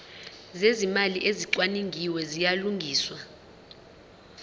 zezimali ezicwaningiwe ziyalungiswa